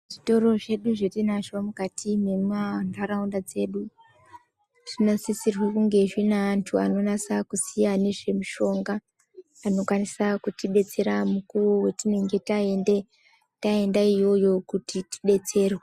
zvitoro zvedu zvatiinazvo mukati memandaraunda dzedu ,zvinosisirwa kuti zvinge zvineantu anonasa kuziya ngezvemushonga, anokwanise kutidetsera patinenge taende iyoyo kuti tidetserwe